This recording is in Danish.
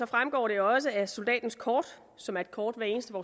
fremgår det også af soldatens kort som er et kort hver eneste